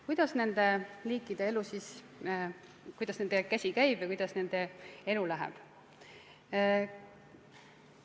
Kuidas siis nende liikide käsi käib ja kuidas nende elu läheb?